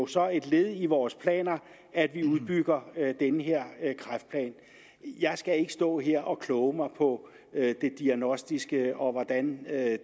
så et led i vores planer at vi udbygger den her kræftplan jeg skal ikke stå her og kloge mig på det diagnostiske og på hvordan